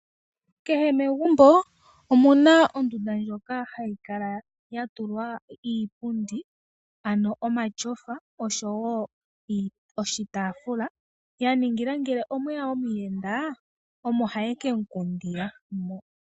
Kehe mefumbo omu na ondunda ndjoka hayi kala ya tulwa iipundi ano omatyofa oshowo oshitaafula, ya ningila ngele omwe ya omuyenda omo haye ke mu kundila mo.